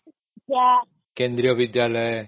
କେନ୍ଦ୍ରୀୟ ବିଦ୍ୟାଳୟ